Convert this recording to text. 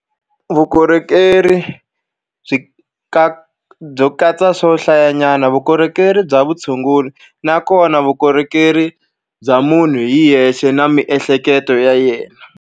Vukorhokeri byi byo katsa swo hlayanyana, vukorhokeri bya vutshunguri, nakona vukorhokeri bya munhu hi yexe na miehleketo ya yena.